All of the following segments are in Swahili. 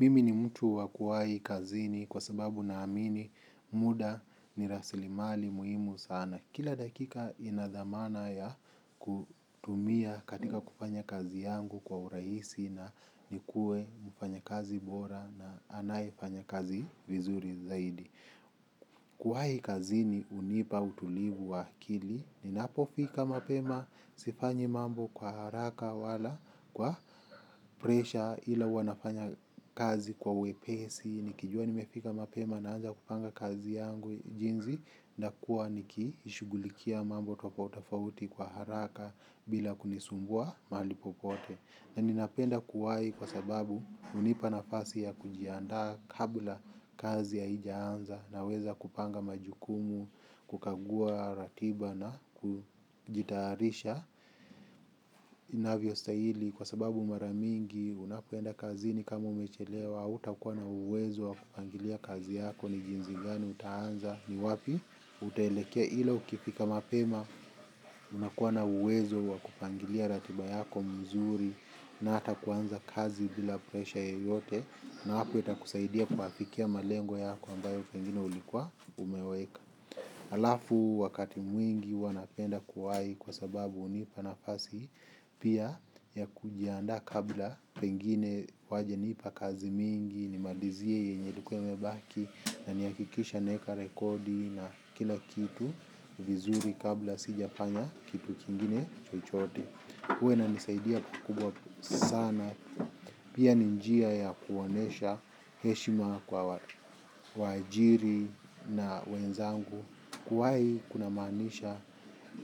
Mimi ni mtu wa kuwahi kazini kwa sababu naamini muda ni rasilimali muhimu sana. Kila dakika ina thamana ya kutumia katika kufanya kazi yangu kwa urahisi na nikuwe mfanyikazi bora na anayefanya kazi vizuri zaidi. Kuwahi kazini hunipa utulivu wa akili, ninapofika mapema sifanyi mambo kwa haraka wala kwa presha ila huwa nafanya kazi kwa wepesi, nikijua nimefika mapema naanza kupanga kazi yangu jinsi ntakuwa nikiishughulikia mambo utakuwa tofauti kwa haraka bila kunisumbua mahali popote. Na ninapenda kuwahi kwa sababu hunipa nafasi ya kujiandaa kabla kazi haijaanza naweza kupanga majukumu, kukagua ratiba na kujitayarisha. Inavyostahili kwa sababu mara mingi unapoenda kazini kama umechelewa hautakuwa na uwezo wa kupangilia kazi yako ni jinsi gani utaanza ni wapi. Utaelekea ila ukifika mapema unakuwa na uwezo wa kupangilia ratiba yako mzuri. Na ata kuanza kazi bila presha yoyote. Na hapo itakusaidia kuwafikia malengo yako ambayo pengine ulikuwa umeweka. Alafu wakati mwingi huwa napenda kuwahi kwa sababu hunipa nafasi, pia ya kujiandaa kabla pengine hawajanipa kazi mingi nimalizie yenye ilikuwa imebaki na nihakikishe nimeweka rekodi na kila kitu vizuri kabla sijafanya kitu kingine chochote huwa inanisaidia pakubwa sana. Pia ni njia ya kuonesha heshima kwa waajiri na wenzangu kuwahi kunamaanisha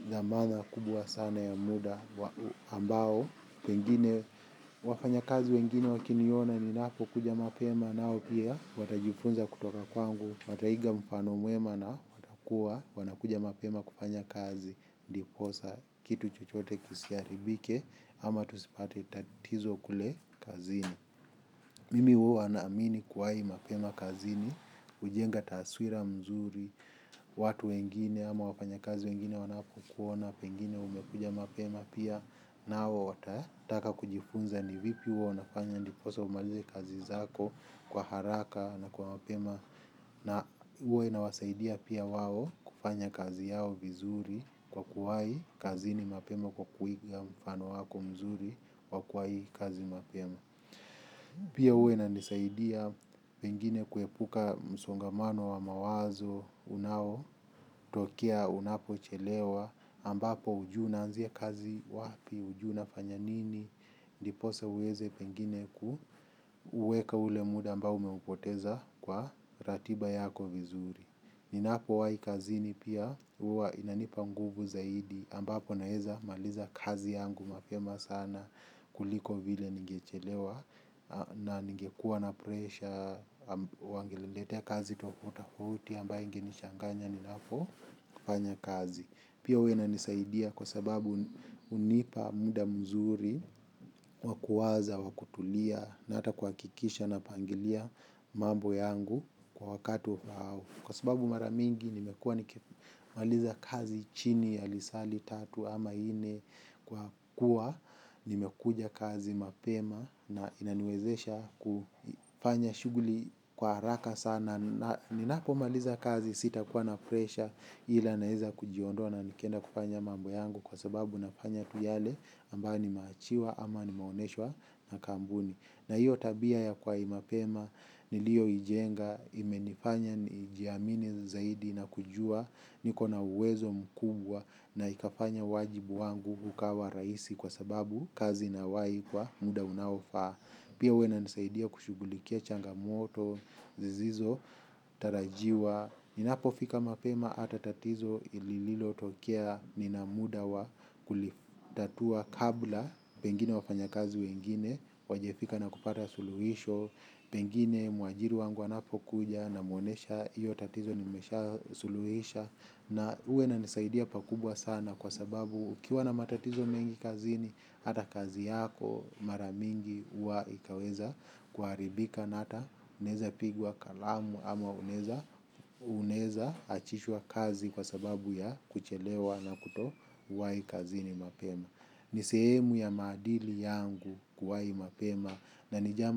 thamana kubwa sana ya muda ambao pengine wafanyakazi wengine wakiniona ninapokuja mapema nao pia watajifunza kutoka kwangu wataiga mfano mwema na watakuwa wanakuja mapema kufanya kazi ndiposa kitu chochote kisiharibike ama tusipate tatizo kule kazini. Mimi huwa naamini kuwahi mapema kazini, hujenga taswira mzuri, watu wengine ama wafanyakazi wengine wanapokuona, pengine umekuja mapema pia. Nao watataka kujifunza ni vipi huwa unafanya ndiposa umalize kazi zako kwa haraka na kwa mapema. Na huwa inawasaidia pia wao kufanya kazi yao vizuri kwa kuwahi kazini mapema kwa kuiga mfano wako mzuri kwa kuwahi kazi mapema. Pia huwa inanisaidia pengine kuepuka msongamano wa mawazo unao tokea unapochelewa ambapo hujui unaanzia kazi wapi, hujui unafanya nini, ndiposa uweze pengine kuweka ule muda ambao umeupoteza kwa ratiba yako vizuri. Ninapowahi kazini pia huwa inanipa nguvu zaidi, ambapo naeza maliza kazi yangu mapema sana kuliko vile nigechelewa, na ningekuwa na presha, wangeniletea kazi tofauti tofauti, ambayo ingenichanganya ninapofanya kazi. Pia huwa inanisaidia kwa sababu hunipa muda mzuri, wa kuwaza, wa kutulia, na ata kuhakikisha napangilia mambo yangu kwa wakati ufaao. Kwa sababu mara mingi nimekuwa nikimaliza kazi chini ya lisaa litatu ama nne kwa kuwa, nimekuja kazi mapema na inaniwezesha kufanya shughuli kwa haraka sana. Na ninapomaliza kazi sitakuwa na pressure ila naeza kujiondoa na nikaenda kufanya mambo yangu kwa sababu nafanya tu yale ambayo nimeachiwa ama nimeoneshwa na kampuni. Na hiyo tabia ya kuwahi mapema niliyoijenga imenifanya nijiamini zaidi na kujua niko na uwezo mkubwa na ikafanya wajibu wangu ukawa rahisi kwa sababu kazi inawai kwa muda unaofaa. Pia huwa inanisaidia kushughulikia changamoto, zisizo, tarajiwa, ninap fika mapema ata tatizo lililotokea nina muda wa kulitatua kabla, pengine wafanyakazi wengine, hawajafika na kupata suluhisho, pengine muajiri wangu anapokuja namwonyesha, iyo tatizo nimeshasuluhisha. Na huwa inanisaidia pakubwa sana kwa sababu ukiwa na matatizo mengi kazini hata kazi yako mara mingi huwa ikaweza kuharibika na hata unaeza pigwa karamu ama unaeza unaeza achishwa kazi kwa sababu ya kuchelewa na kutowahi kazini mapema ni sehemu ya maadili yangu kuwahi mapema na ni jambo.